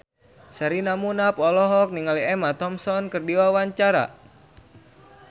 Sherina Munaf olohok ningali Emma Thompson keur diwawancara